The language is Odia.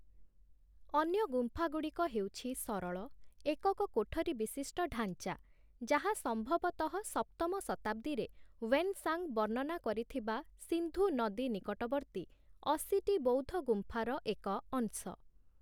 ଅନ୍ୟ ଗୁମ୍ଫାଗୁଡ଼ିକ ହେଉଛି ସରଳ, ଏକକ କୋଠରୀ ବିଶିଷ୍ଟ ଢାଞ୍ଚା, ଯାହା ସମ୍ଭବତଃ ସପ୍ତମ ଶତାବ୍ଦୀରେ ହ୍ୱେନ-ସାଂ ବର୍ଣ୍ଣନା କରିଥିବା ସିନ୍ଧୁ ନଦୀ ନିକଟବର୍ତ୍ତୀ ୮୦ଟି ବୌଦ୍ଧ ଗୁମ୍ଫାର ଏକ ଅଂଶ ।